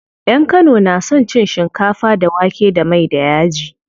Yan kano na son cin shinkafa da wake da mai da yaji.